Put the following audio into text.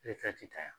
ta yan